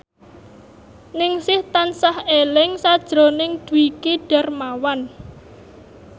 Ningsih tansah eling sakjroning Dwiki Darmawan